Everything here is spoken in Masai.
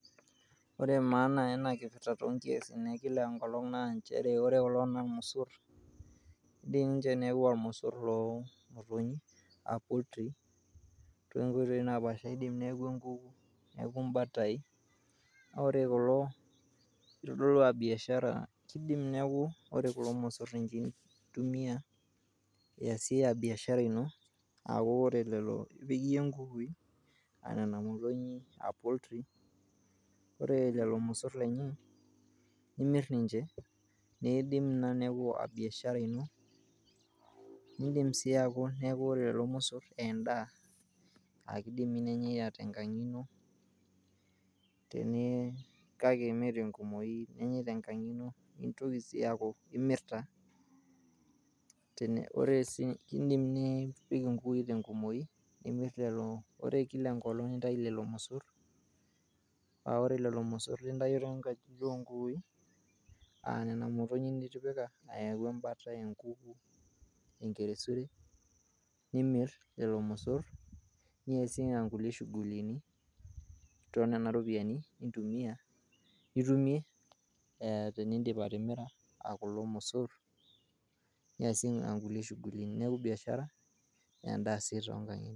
ore maana ena kipirta toonkiasin ekila enkolong' naa nchere. ore kulo naa irmosor keidim aa irmosor loo imotonyi, too nkoitoi naa paasha oo nkukui, neaku imbatai neaku kore kulo keidim ore kulo mosor naa ninche eitumia iasie biashara ino aaku ore lelo loo nkukui aa motonyi. ore lelo mosor lenye nimirninche neidim ina neaku biashara ino neidim sii aku ore lelo mosor naa endaa aa keidim nenyae kenkang' ino kake mee te nkumoi . nintoki sii aaku imirta. indim nipiki inkukui te nkumoi nimir leleo . ore kila enkolong nintayu lelo mosor ore lelo mosor lintayio too nkajijik oo nkukui aa nena moyonyi nitipika. ayau embata enkuku enkeresure, nimir leleo mosor niasie inkulie shugulini too nena ropiyiani nitumie tinindip atimira kulo mosor niasie inkulie shughulini neaku iasie biashara naa endaa sii too nkulie ang'itie.